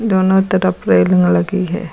दोनों तरफ रेलिंग लगी है।